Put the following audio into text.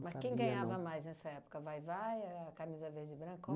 Mas quem ganhava mais nessa época, a Vai-Vai, a Camisa Verde e Branco? Qual